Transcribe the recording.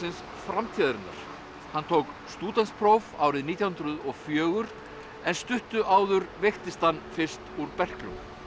framtíðarinnar hann tók stúdentspróf árið nítján hundruð og fjögur en stuttu áður veiktist hann fyrst úr berklum